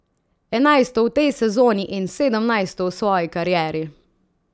Enajsto v tej sezoni in sedemnajsto v svoji karieri.